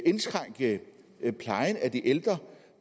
indskrænke plejen af de ældre